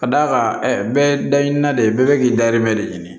Ka d'a kan ɛ bɛɛ dayɛlɛ na de ye bɛɛ bɛ k'i dayirimɛ de ɲini